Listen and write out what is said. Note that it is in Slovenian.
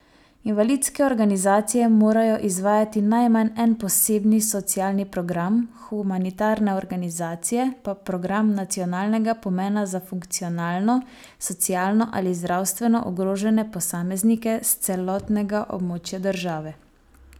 Invalidske organizacije morajo izvajati najmanj en posebni socialni program, humanitarne organizacije pa program nacionalnega pomena za funkcionalno, socialno ali zdravstveno ogrožene posameznike s celotnega območja države.